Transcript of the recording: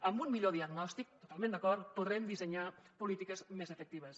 amb un millor diagnòstic totalment d’acord podrem dissenyar polítiques més efectives